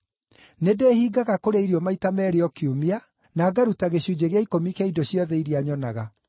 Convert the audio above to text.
Nĩndĩĩhingaga kũrĩa irio maita meerĩ o kiumia, na ngaruta gĩcunjĩ gĩa ikũmi kĩa indo ciothe iria nyonaga.’